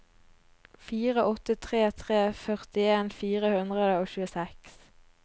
fire åtte tre tre førtien fire hundre og tjueseks